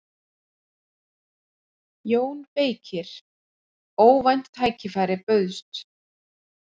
JÓN BEYKIR: Óvænt tækifæri bauðst.